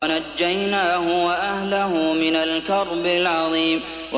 وَنَجَّيْنَاهُ وَأَهْلَهُ مِنَ الْكَرْبِ الْعَظِيمِ